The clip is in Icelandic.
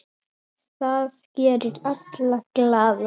Það gerir alla glaða.